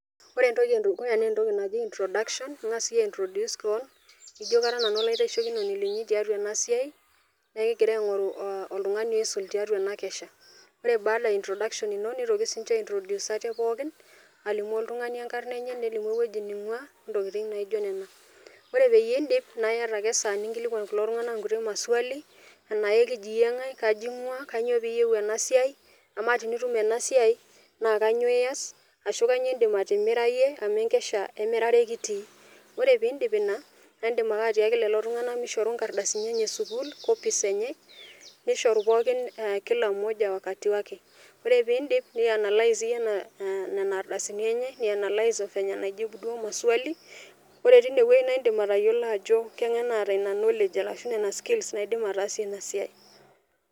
Ore entoki edukuya naa entoki naji introduction , ingas iyie aintroduce keon , nijo kara nanu olaitasheikoni linyi tiatua ena siai naa ekingira aingoru oltungani oisul tiatua ena kesha . Ore baada e introduction nitoki ninche aitroduce ate pookin , alimu oltungani enkarna enye , nelimu ewueji ningwaa ontokitin naijo nena. Ore peyie indip naa iata ake esaa ninkilikwan kulo tunganak inkuti maswali , ana ekiji ngae , kaji ngwaa , kainyioo piyieu ena siai, amaa tenitum ena siai naa kainyioo ias , ashu kainyioo indim atimira iyie amu enkesha emirare kitii. Ore piindip ina naa indim ake atiaaki lelo tunganak mishoru inkarasini enye e sukuul, copies enye, nishoru pookin kila mmoja wakati wake .Ore pindip nianalize ieyie nena ardasini enye , nianalize venye naijibutuo maswali . Ore tine wueji naa indim atayiolo ajo kengae naata ina knowledge arashu nena skills naidim ataasie ina siai.